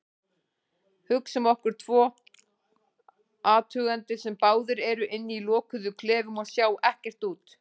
Hugsum okkur tvo athugendur sem báðir eru inni í lokuðum klefum og sjá ekki út.